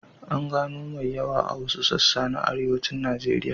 An gano mai yawa a wasu sassa na Arewacin Najeriya.